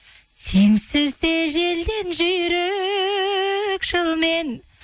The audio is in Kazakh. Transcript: сенсіз де желден жүйрік жылмен